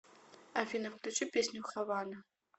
афина включи песню хавана